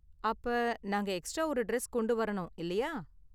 அப்ப, நாங்க எக்ஸ்ட்ரா ஒரு டிரெஸ் கொண்டு வரணும், இல்லையா?